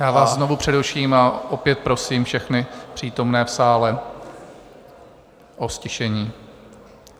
Já vás znovu přeruším a opět prosím všechny přítomné v sále o ztišení.